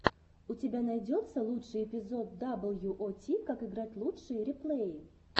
у тебя найдется лучший эпизод дабл ю о ти как играть лучшие реплеи